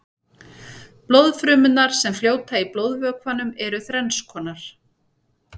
blóðfrumurnar sem fljóta í blóðvökvanum eru þrennskonar